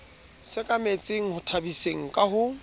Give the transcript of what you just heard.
sekametseng ho tshabiseng ka ho